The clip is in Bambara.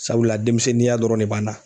Sabula denmisɛnninya dɔrɔn de b'an na.